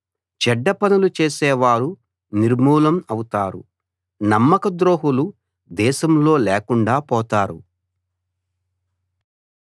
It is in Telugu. చెడ్డ పనులు చేసేవారు నిర్మూలం అవుతారు నమ్మకద్రోహులు దేశంలో లేకుండా పోతారు